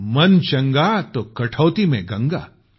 मन चंगा तो कठौती मे गंगा